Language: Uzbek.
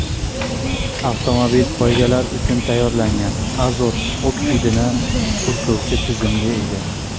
Avtomobil poygalar uchun tayyorlangan, azot oksidini purkovchi tizimga ega.